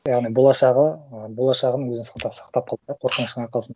яғни болашағы ы болашағын өзін сақтап қалды да қорқыныштың арқасында